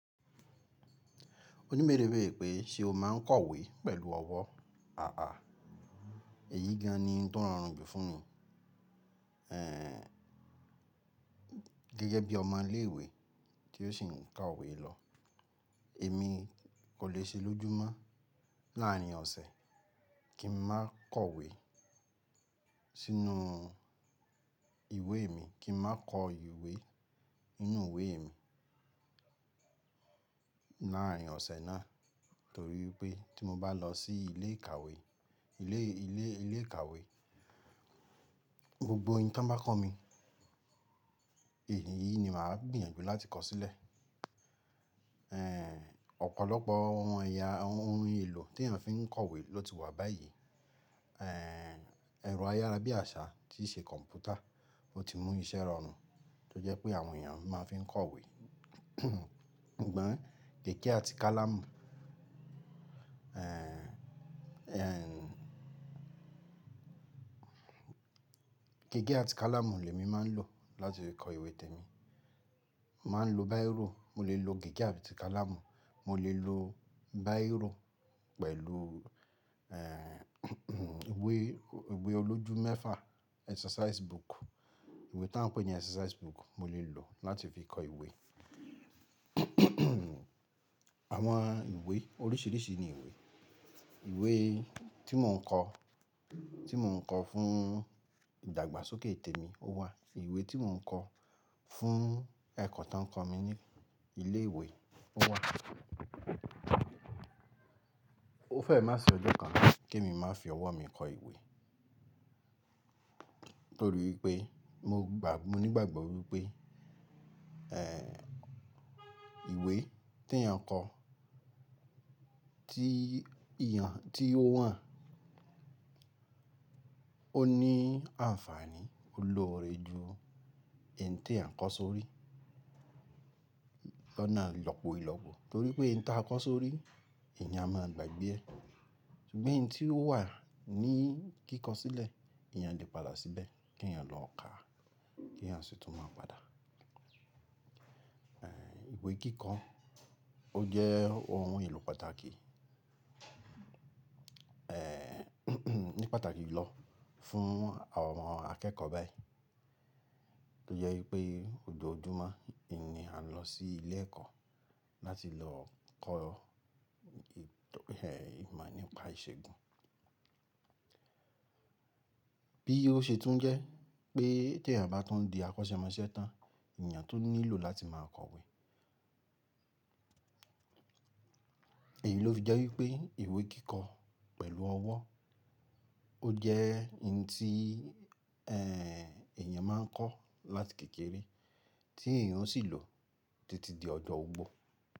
Oni beere beere pé ṣe o máa ń kọ̀wé pẹ̀lú ọwọ́? Àà, èyí gan-an ni n tó rọrùn jù fún mi. Geẹ́gẹ́ bí ọmọ ilé ìwé tí ó sì ń ka ìwé lọ, èmi kò lè ṣe lójúmọ́ láàárin ọ̀sẹ̀ kí n máa kọ̀wé sínú ìwé mi, kí n máa kọ ìwé nínú ìwé mi láàárín ọ̀sẹ̀ náà torí pé tí mo bá lọ sí ilé ìkàwé, gbogbo ohun tí wọ́n bá kọ́ mi, èyí ni màá gbìyànjú láti kọ sílẹ̀. Ọ̀pọ̀lọpọ̀ ohun èlò tí èèyàn fi ń kọ̀wé ló ti wà báyìí. Ẹ̀rọ ayára bí àṣá tí ṣe kọ̀ǹpútà o ti mú iṣẹ́ rọrùn tó jẹ́ pé àwọn èèyàn máa ń fi kọ̀wé. Sugbon gege ati kalamu. Gègé àti kálámù lè mi máa ń lò láti fi kọ ìwé tèmi. Mo máa ń lo báyírò, mo lè lo gègé àti kálámù, mo lè lo báyírò pẹ̀lú ìwé olójú mẹ́fà, exercise book ìwé tí wọ́n ń pè ní exercise book mo lè lò láti fi kọ ìwé. Àwọn ìwé oríṣiríṣi ni ìwé. Ìwé tí mò ń kọ, tí mò ń kọ fún ìdàgbàsókè tèmi ó wà. Ìwé tí mò ń kọ fún ẹ̀kọ́ tó ń kọ mi ní ilé ìwé ó wà. Ó fẹ́ má ṣe ọjọ́kan kí èmi má fi ọwọ́ mi kọ ìwé torí wipé mo ní ìgbàgbọ́ wípé ìwé tí èèyàn kọ, tí ó wà, ó ní àǹfààní, ó lọ́ọ̀rẹ́ ju ẹn tí à ń kọ sórí lọ́nà lọ́pọ̀ ìlọ́pọ̀ torí pé ẹn tí a kọ sórí èèyàn máa ń gbàgbé ẹ́ ṣùgbọ́n ẹn tí ó wà ní kíkọ sílẹ̀ èèyàn le padà síbẹ̀ kí èèyàn lọ ká kí èèyàn sì tún máa padà. Ìwé kíkọ ó jẹ́ ohun èlò pàtàkì, ní pàtàkì lọ fún àwọn akẹ́kọ̀ọ́ báyìí to je wipé ojoojúmọ́ ni a ń lọ sí ilé ẹ̀kọ́ láti lọ kọ́ ìmọ̀ nípa ìṣègùn. Bí ó ṣe tún jẹ́ pé tí èèyàn bá tun di akọ́sẹ́mọsẹ́ tán èèyàn tun nílò láti máa kọ̀wé. Èyí ló fi jẹ́ wípé ìwé kíkọ pẹ̀lú ọwọ́ ó jẹ́ ẹn tí èèyàn máa ń kọ láti kékeré tí èèyàn sì ń lò títí di ọjọ́ ogbó.